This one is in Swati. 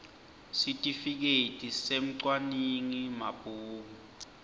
sitifiketi semcwaningi mabhuku